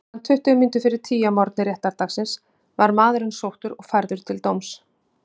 Klukkan tuttugu mínútur fyrir tíu að morgni réttardagsins var maðurinn sóttur og færður til dóms.